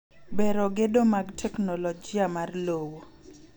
Bero gedo mag teknoloji mar lowo.